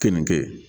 Keninge